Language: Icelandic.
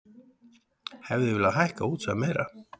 Hefði viljað hækka útsvar meira